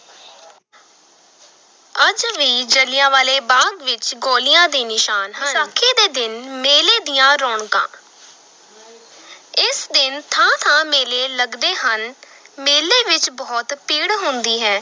ਅੱਜ ਵੀ ਜਲਿਆਂਵਾਲੇ ਬਾਗ਼ ਵਿਚ ਗੋਲੀਆਂ ਦੇ ਨਿਸ਼ਾਨ ਹਨ, ਵਿਸਾਖੀ ਦੇ ਦਿਨ ਮੇਲੇ ਦੀਆਂ ਰੌਣਕਾਂ ਇਸ ਦਿਨ ਥਾਂ-ਥਾਂ ਮੇਲੇ ਲਗਦੇ ਹਨ, ਮੇਲੇ ਵਿਚ ਬਹੁਤ ਭੀੜ ਹੁੰਦੀ ਹੈ।